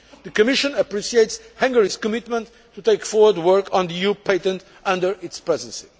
The Commission appreciates Hungary's commitment to taking forward work on the EU patent under its Presidency.